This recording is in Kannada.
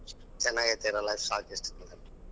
ಚನಗೈತೆರಲಾ ಸಾಕ್ ಇಷ್ಟ್.